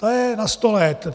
Ta je na sto let.